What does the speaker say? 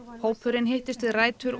hópurinn hittist við rætur